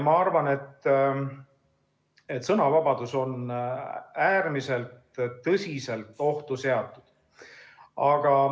Ma arvan, et sõnavabadus on äärmiselt tõsiselt ohtu seatud.